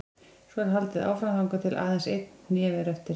Svo er haldið áfram þangað til aðeins einn hnefi er eftir.